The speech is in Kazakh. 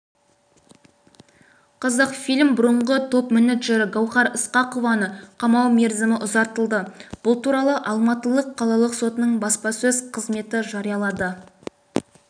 қазақфильм бұрыңғы топ-менеджері гауһар ысқақованы қамау мерзімі ұзартылды бұл туралы алматы қалалық сотының баспасөз қызметі жариялады